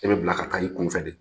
E be bila ka taa i kun fɛ de .